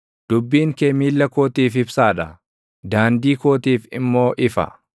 Dubbiin kee miilla kootiif ibsaa dha; daandii kootiif immoo ifa.